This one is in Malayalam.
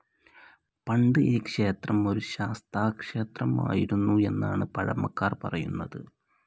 പണ്ട് ഈ ക്ഷേത്രം ഒരു ശാസ്താക്ഷേത്രമായിരുന്നു എന്നാണ് പഴമക്കാർ പറയുന്നത്.